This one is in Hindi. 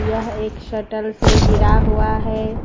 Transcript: यह एक शटल से घिरा हुआ है।